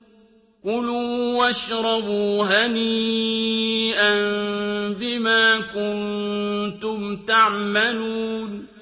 كُلُوا وَاشْرَبُوا هَنِيئًا بِمَا كُنتُمْ تَعْمَلُونَ